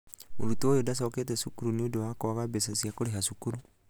mũrutwo ũyũ ndacokete cukuru nĩũndu wa kwaga mbeca cia kurĩha cukuru.